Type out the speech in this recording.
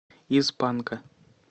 из панка